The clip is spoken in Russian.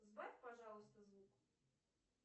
сбавь пожалуйста звук